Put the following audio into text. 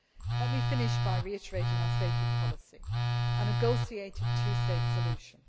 Let me finish by reiterating our stated policy, which is a negotiated two state solution.